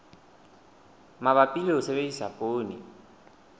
mabapi le ho sebedisa poone